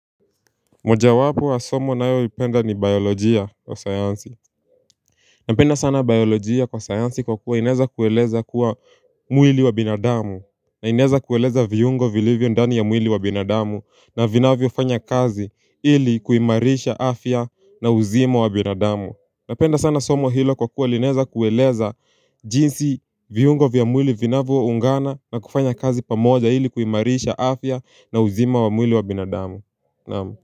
Mojawapo wa somo ninayo lipenda ni biolojia wa sayansi Napenda sana biolojia kwa sayansi kwa kuwa inaweza kueleza kuwa mwili wa binadamu na inaweza kueleza viungo vilivyo ndani ya mwili wa binadamu na vinavyo fanya kazi ili kuimarisha afya na uzima wa binadamu Napenda sana somo hilo kwa kuwa linaweza kueleza jinsi viungo vya mwili vinavyo ungana na kufanya kazi pamoja ili kuimarisha afya na uzima wa mwili wa binadamu Naam.